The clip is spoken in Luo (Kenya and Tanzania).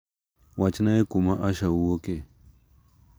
Wachnae kuma Asha wuoke.